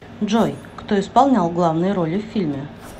джой кто исполнял главные роли в фильме